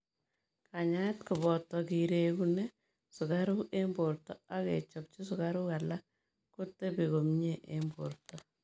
Kanyaet kopataa kiregune sukaruuk eng portoo ak kechopchii sukaruuk alaak kotepii komie eng portoo.